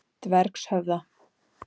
Dvergshöfða